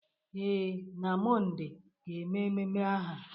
Ee, na Mọnde ga-eme ememe aha,